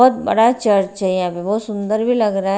बहोत बड़ा चर्च है यहां पे बहोत सुंदर भी लग रहा है।